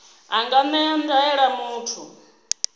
a nga ṅea ndaela muthu